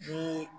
Ni